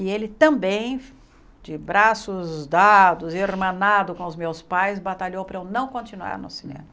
E ele também, de braços dados, irmanado com os meus pais, batalhou para eu não continuar no cinema.